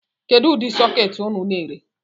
Kedu udi sụketi unu na-ere?